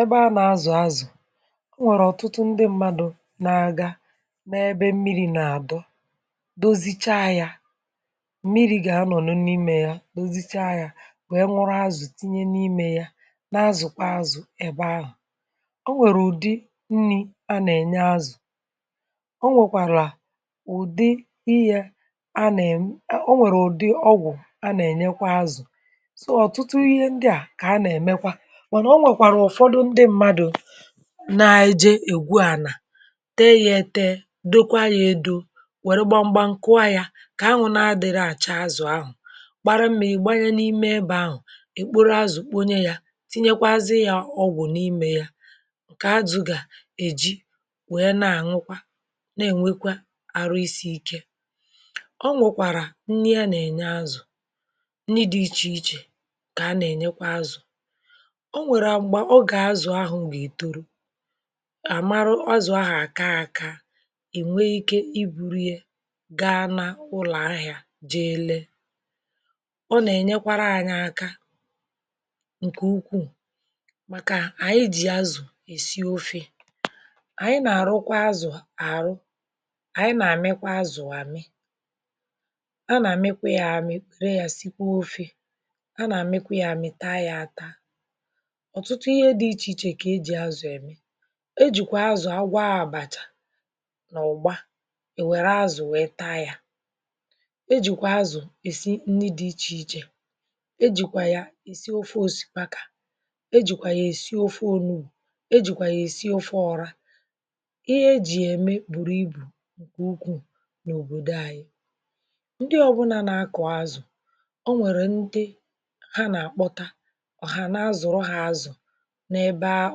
ebe a nà-azụ̀ azụ̀ o nwèrè ọ̀tụtụ ndị mmadụ̇ nà-aga ma ebe mmiri̇ nà-àdọ dozicha yȧ mmiri̇ gà-anọ̀ n’imė yȧ dozicha yȧ nwè nwụrụ azụ̀ tinye n’imė yȧ na-azụ̀ kwa azụ̀ ebe ahụ̀ o nwèrè ụ̀dị nni̇ a nà-ènye azụ̀ o nwèkwàrà ụ̀dị ihe a nà-ènye o nwèrè ụ̀dị ọgwụ̀ a nà-ènyekwa azụ̀ so otutu ihe ndia na onwekwara ufodu ndi mmadu na-eje ègwu ànà tee ya ètee dokwa ya edo wère gbamgba ǹkụọ ya kà ahụ̀ na-adị̀rị àcha azụ̀ ahụ̀ gbara mma ègbanye n’ime ebe ahụ̀ èkporo azụ̀ kponye ya tinyekwazi ya ọgwụ̀ n’imė ya ǹkè azụ̀ gà èji wèe na-àñụkwa na-ènwekwa àrụ isi ike ọ nwụ̀kwàrà nni a nà-ènye azụ̀ nni dị ichè ichè kà a nà-ènyekwa azụ̀ onwérè mgbà ògè azụ̀ ahụ̀ gà-ètoro àmarụ, azụ̀ ahụ̀ àka aka ènwe ike i burie gaa na ụlọ̀ ahịȧ jee lee ọ nà-ènyekwara ȧnyị̇ aka ǹkè ukwuù màkà ànyị jì azụ̀ èsị ofė ànyị nà-àrụ kwa azụ̀ àrụ ànyị nà-àmịkwa azụ̀ àmị a nà-àmịkwa yȧ àmị re yà sikwaa ofė a nà-àmịkwa yȧ àmị taa yȧ ata otutū ihe di iche iche ka eji azù eme e jì kwa azụ̀ agwọ a àbàchà nà ụ̀gbọ è wère azụ̀ wèe taa yȧ e jì kwa azụ̀ èsi nni dị̇ ichè ichè e jì kwà ya èsi ofe osìkpakȧ e jì kwà ya èsi ofe onuù e jì kwà ya èsi ofe ọra ihe e jì ya ème bùrù ibù ǹkè ukwuu n’òbòdo anyị ndị ọbụnȧ na-akọ̀ azụ̀ ọ nwèrè ndị ha nà-àkpọta ọ̀hà na azụ̀rọ ha azụ̀ ebe a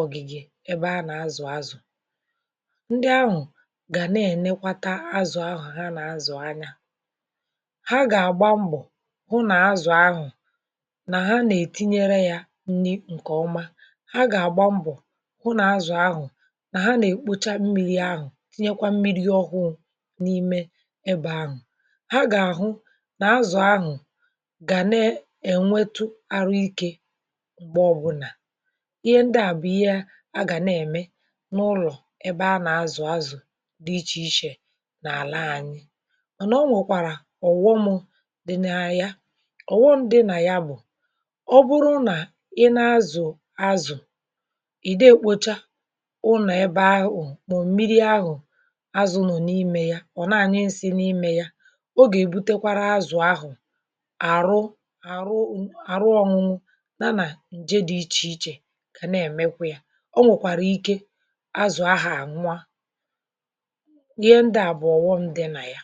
ogige ebe a nà-azụ̀ azụ̀ ndị ahụ̀ gà na-ènekwa taa azụ̀ ahụ̀ ha nà-azụ̀ anya ha gà-àgba mbọ̀ hụ nà azụ̀ ahụ̀ nà ha nà-ètinyere yȧ nni ǹkèọma ha gà-àgba mbọ̀ hụ nà-azụ̀ ahụ̀ nà ha nà-èkpocha mmiri̇ ahụ̀ tinyekwa mmiri̇ ọhụụ̇ n’ime ebe ahụ̀ ha gà-àhụ nà-azụ̀ ahụ̀ gà na-ènwetu arụ ikė m̀gbe ọbụnà ihe ndị à bụ̀ ihe a gà na-ème n’ụlọ̀ ebe a nà-azụ̀ azụ̀ dị ichè ichè n’àla anyị ọ̀ nọ̀ nwèkwàrà ọ̀ghọmụ̇ dị na ya ọ̀ghọmụ̇ dị nà ya bụ̀ ọ bụrụ nà i nee azụ̀ azụ̀ ị̀ dị ekpocha ụnọ̀ ebe ahụ̀ mọ̀ m̀miri ahụ̀ azụnọ̀ n’imė ya ọ̀ na-ànyị nsị n’imė ya o gà-èbutekwara azụ̀ ahụ̀ àrụ àrụ ọ̇nụ̇nụ̇ na nà nje dị̇ ichè ichè onwekwara Ike azụ̀ ahu ànwū ihe ndị à bụ̀ ọ̀wọṁ dị nà ya